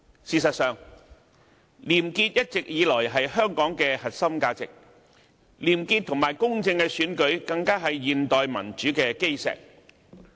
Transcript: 事實上，廉潔一直以來是香港的核心價值，而廉潔及公正的選舉更是現代民主的基石。